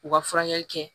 U ka furakɛli kɛ